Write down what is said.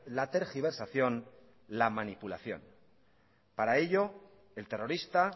la tergiversación la manipulación para ello el terrorista